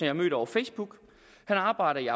har mødt over facebook han arbejder i